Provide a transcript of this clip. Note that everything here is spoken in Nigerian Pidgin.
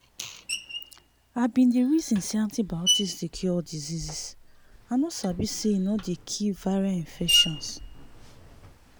i been dey reason say antibiotics dey cure all dieases i no sabi say e no dey kill viral infections